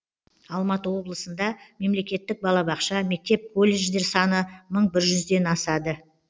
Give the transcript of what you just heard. алматы облысында мемлекеттік балабақша мектеп колледждер саны мың бір жүзден асады